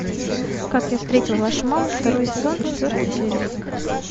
как я встретил вашу маму второй сезон четвертая серия